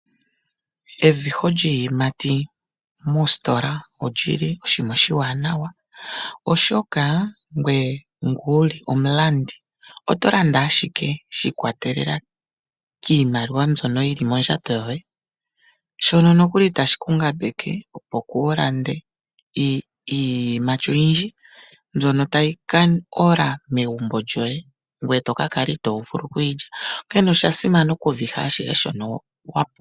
Eviho lyiiyimati moositola olyili oshinima oshiwanawa, oshoka ngoye ngu wuli omulandi, oto landa ashike sha ikwatelela kiimaliwa mbyoka yili mondjato yoye, shono nokuli tashi ku ngambeke, opo kuulande iiyimati oyindji, mbyono tayi oka ola megumbo lyoye, ngoye to ka kala itoo vulu oku yilya. Onkene osha simana oku viha shike shono wa pumbwa.